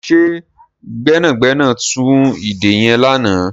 Ṣe gbẹ́nàgbẹ́nà tú ìdè yẹn lánàá?